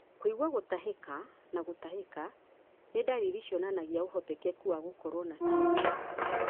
Kũigua gũtahĩka na gũtahĩka nĩ ndariri cionanagia ũhotekeku wa gũkorwo na TB.